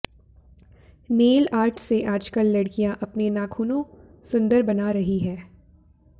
nail art से आजकल लडकियां अपने नाखूनों सुंदर बना रही है